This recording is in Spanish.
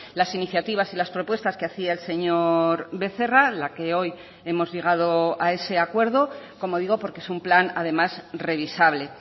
las iniciativas y las propuestas que hacía el señor becerra a la que hoy hemos llegado a ese acuerdo como digo porque es un plan además revisable